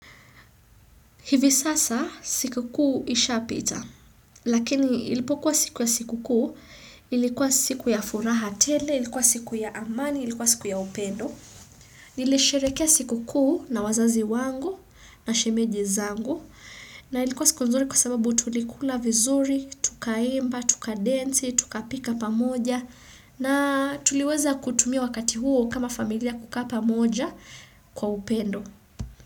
Hivi sasa siku kuu ishapita, lakini ilipokuwa siku ya siku kuu, ilikuwa siku ya furaha tele, ilikuwa siku ya amani, ilikuwa siku ya upendo. Nilisherekea siku kuu na wazazi wangu na shemeji zangu na ilikuwa siku nzuri kwa sababu tulikula vizuri, tukaimba, tukadensi, tukapika pamoja na tuliweza kutumia wakati huo kama familia kukaa pamoja kwa upendo.